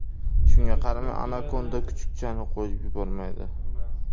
Shunga qaramay anakonda kuchukchani qo‘yib yubormaydi.